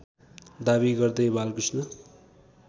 दाबी गर्दै बालकृष्ण